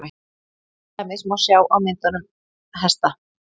til dæmis má sjá á myndunum hesta